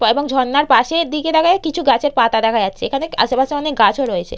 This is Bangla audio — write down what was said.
এবং ঝর্ণার পাশের দিকে তাকালে কিছু গাছের পাতা দেখা যাচ্ছেএখানে আশেপাশে অনেক গাছ ও রয়েছে।